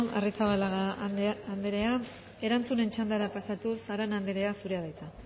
arrizabalaga andrea erantzunen txandara pasatuz arana andrea zurea da hitza